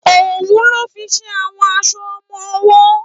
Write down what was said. Ówù lò fi n ṣé áwòn áṣò òmò òwò